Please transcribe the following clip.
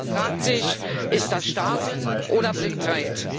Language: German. Man fragt sich Ist das Starrsinn oder Blindheit?